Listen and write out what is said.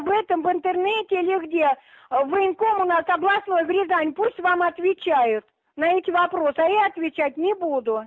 в этом в интернете или где ээ в военкомат областной рязань пусть вам отвечают на эти вопросы а я отвечать не буду